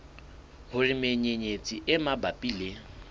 hore menyenyetsi e mabapi le